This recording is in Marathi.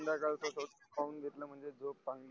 पाऊन घेतल म्हणजे झोप चांगली